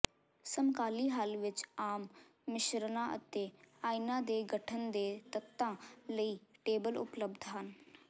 ਸਮਕਾਲੀ ਹੱਲ ਵਿੱਚ ਆਮ ਮਿਸ਼ਰਣਾਂ ਅਤੇ ਆਇਨਾਂ ਦੇ ਗਠਨ ਦੇ ਤੱਤਾਂ ਲਈ ਟੇਬਲ ਉਪਲਬਧ ਹਨ